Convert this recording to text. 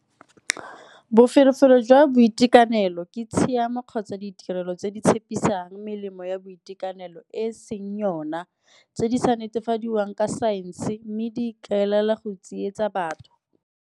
Boferefere jwa boitekanelo ke tshiamo kgotsa ditirelo tse di tshepisang melemo ya boitekanelo e seng yona tse di sa netefadiwang ka saense mme di ikaelela go tsietsa batho.